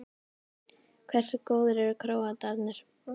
Hversu góðir eru Króatarnir?